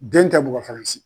Den tɛ bugɔ Faransi.